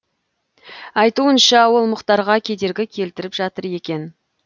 айтуынша ол мұхтарға кедергі келтіріп жатыр екен